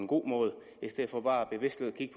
god måde i stedet for bare bevidstløst at